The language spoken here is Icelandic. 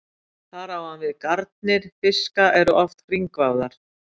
Þar á hann við að garnir fiska eru oft hringvafðar.